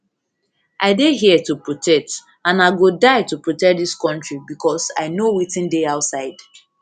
i dey here to protect and i go die to protect dis kontri becos i know wetin dey outside